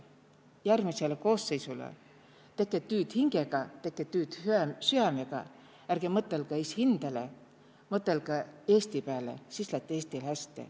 Järgmisele koosseisule: teke tüüd hingega, teke tüüd süämega, ärge mõtõlgõ esihindäle, mõtõlõgõ Eesti pääle, siis lätt Eestil hästi.